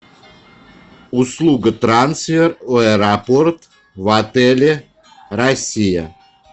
услуга трансфер в аэропорт в отеле россия